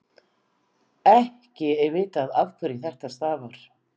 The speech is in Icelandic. ekki er vitað afhverju þetta stafar